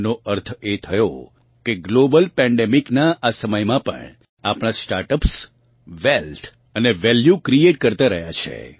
આનો અર્થ એ થયો કે ગ્લોબલ પેન્ડેમિકનાં આ સમયમાં પણ આપણાં સ્ટાર્ટ અપ્સ વેલ્થ અને વેલ્યૂ ક્રિએટ કરતા રહ્યા છે